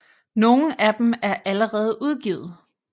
Nogle af dem er allerede udgivet